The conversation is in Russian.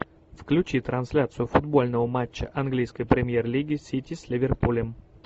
включи трансляцию футбольного матча английской премьер лиги сити с ливерпулем